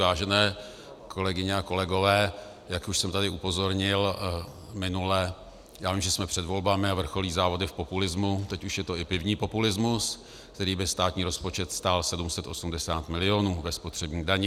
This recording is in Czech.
Vážené kolegyně a kolegové, jak už jsem tady upozornil minule, já vím, že jsme před volbami a vrcholí závody v populismu, teď už je to i pivní populismus, který by státní rozpočet stál 780 milionů ve spotřební dani.